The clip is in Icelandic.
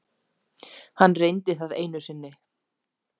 Hann reyndi það einu sinni.